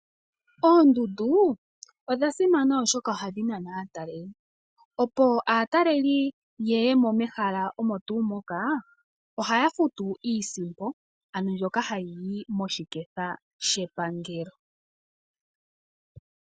Oondundu odha simana oshoka oha dhi nana aataleli, opo aatalali ye ye mehala omo tuu moka ohaya futu iisimpo ano mbyoka hayi yi moshiketha shepangelo.